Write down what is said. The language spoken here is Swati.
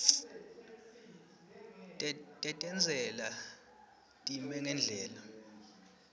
tetentsela time ngendlela